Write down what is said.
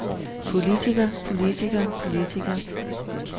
politiker politiker politiker